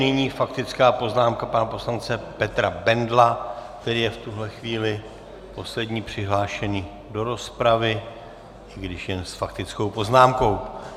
Nyní faktická poznámka pana poslance Petra Bendla, který je v tuto chvíli poslední přihlášený do rozpravy, i když jen s faktickou poznámkou.